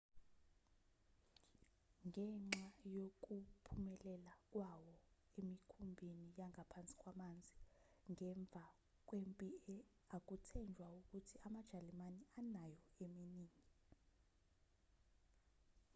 ngenxa yokuphumelela kwawo emikhumbini yangaphansi kwamanzi ngemva kwempi akuthenjwa ukuthi amajalimane anayo eminingi